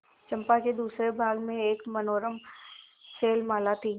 चंपा के दूसरे भाग में एक मनोरम शैलमाला थी